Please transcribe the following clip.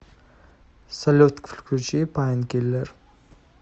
салют включи пайнкиллер